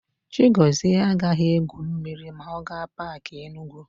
Chigọzie agaghị égwù mmiri ma ọ gaa Paakị Enugu.